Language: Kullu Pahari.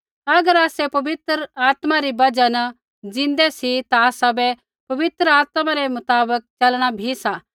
अगर आसै पवित्र आत्मा री बजहा न ज़िन्दै सी ता आसाबै पवित्र आत्मा रै मुताबक च़लणा भी सा